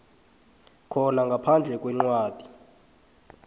khona ngaphandle kwencwadi